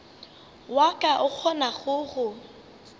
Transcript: wa ka o kgonago go